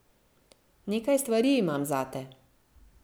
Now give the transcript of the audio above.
Nekaj stvari imam zate.